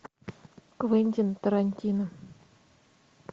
квентин тарантино